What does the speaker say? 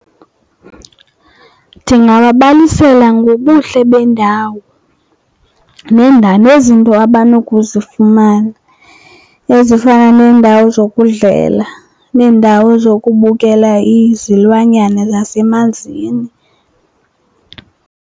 Ndingababalisela ngobuhle bendawo nendalo nezinto abanokuzifumana ezifana neendawo zokudlela, neendawo zokubukela izilwanyana zasemanzini.